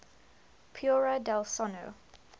paura del sonno